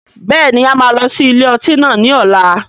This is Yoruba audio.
Bẹ́ẹ̀ni, a máa lọ sí ilé ọtí náà ni ọ̀la.